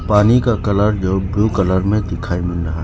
पानी का कलर जो ब्लू कलर में दिखाई मिल रहा --